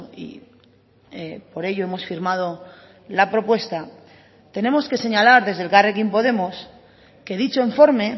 y por ello hemos firmado la propuesta tenemos que señalar desde elkarrekin podemos que dicho informe